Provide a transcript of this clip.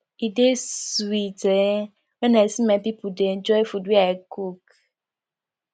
e dey sweet um when i see my pipo dey enjoy food wey i cook